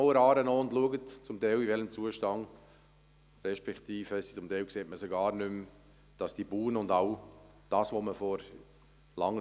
Gehen Sie einmal der Aare entlang und schauen Sie, in welchem Zustand die Buhnen und all das, was man vor langer Zeit gemacht hat, sind.